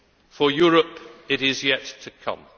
For Europe it is yet to come.